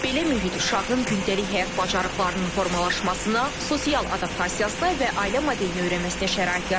Belə mühit uşağın gündəlik həyat bacarıqlarının formalaşmasına, sosial adaptasiyasına və ailə modelini öyrənməsinə şərait yaradır.